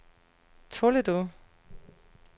Toledo